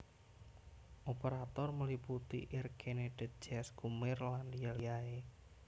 Operator meliputi Air Canada Jazz Comair lan liya liyae